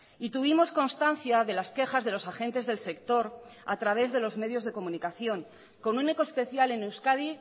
y tuvimos constancia de las quejas de los agentes del sector a través de los medios de comunicación con un eco especial en euskadi